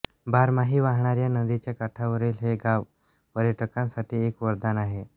बारमाही वाहणाऱ्या नदीच्या काठावरील हे गाव पर्यटकांसाठी एक वरदान आहे